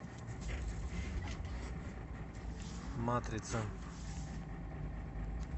матрица